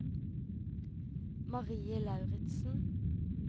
Marie Lauritsen